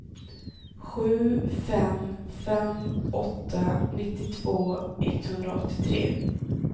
sju fem fem åtta nittiotvå etthundraåttiotre